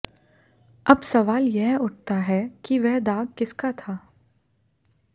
अब सवाल यह उठता है कि वह दाग किसका था